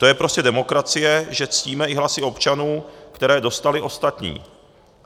To je prostě demokracie, že ctíme i hlasy občanů, které dostali ostatní.